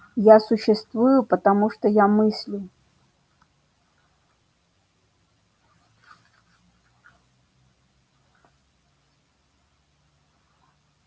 я существую потому что я мыслю